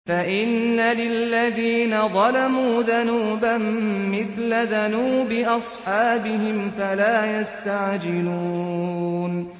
فَإِنَّ لِلَّذِينَ ظَلَمُوا ذَنُوبًا مِّثْلَ ذَنُوبِ أَصْحَابِهِمْ فَلَا يَسْتَعْجِلُونِ